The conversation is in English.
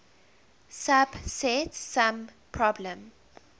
subset sum problem